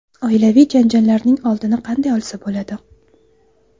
Oilaviy janjallarning oldini qanday olsa bo‘ladi?.